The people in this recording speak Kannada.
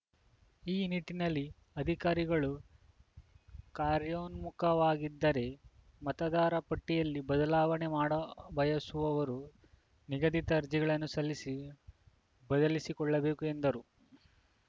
ಈ ನಿಟ್ಟಿನಲ್ಲಿ ಅಧಿಕಾರಿಗಳು ಕಾರ್ಯೋನ್ಮುಖವಾಗಿದ್ದಾರೆ ಮತದಾರ ಪಟ್ಟಿಯಲ್ಲಿ ಬದಲಾವಣೆ ಮಾಡಬಯಸುವವರು ನಿಗದಿತ ಅರ್ಜಿಗಳನ್ನು ಸಲ್ಲಿಸಿ ಬದಲಿಸಿಕೊಳ್ಳಬೇಕು ಎಂದರು